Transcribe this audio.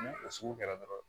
Ni o sugu kɛra dɔrɔn